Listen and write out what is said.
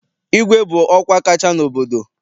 Igwe bụ ọkwa kacha n'obodo.